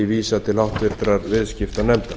vísað til háttvirtrar viðskiptanefndar